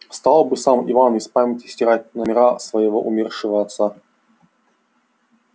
стал бы сам иван из памяти стирать номера своего умершего отца